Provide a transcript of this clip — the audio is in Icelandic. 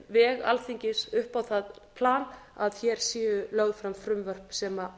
veg alþingis upp á það plan að hér séu lögð fram frumvörp sem